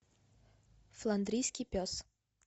фландрийский пес